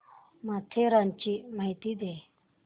माथेरानची माहिती दे